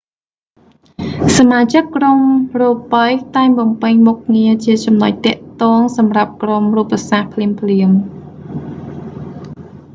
សមាជិកក្រុមរូបី តែងបំពេញមុខងារជាចំណុចទាក់ទងសម្រាប់ក្រុមរូបសាស្រ្តភ្លាមៗ